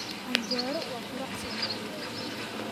Anjero waa quraac Soomaaliyeed